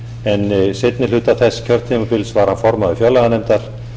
en seinni hluta þess kjörtímabils en seinni hluta þess kjörtímabils var hann formaður fjárlaganefndar